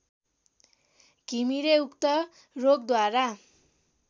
घिमिरे उक्त रोगद्वारा